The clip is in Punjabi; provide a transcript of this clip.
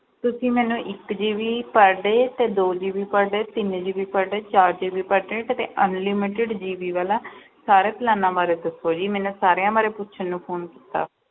ਤੁਸੀਂ ਮੈਨੂੰ ਇੱਕ GB per day ਤੇ ਦੋ GB per day ਤਿੰਨ GB per day ਚਾਰ GB per day ਤੇ unlimited GB ਵਾਲਾ ਸਾਰੇ plans ਬਾਰੇ ਦੱਸੋ ਜੀ, ਮੈਨੇ ਸਾਰਿਆਂ ਬਾਰੇ ਪੁੱਛਣ ਨੂੰ phone ਕੀਤਾ।